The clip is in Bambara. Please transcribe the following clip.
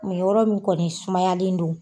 yɔrɔ min kɔni sumayalen do.